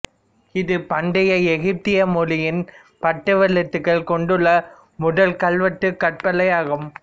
இது பண்டைய எகிப்திய மொழியின் படவெழுத்துகள் கொண்டுள்ள முதல் கல்வெட்டு கற்பலகையாகும்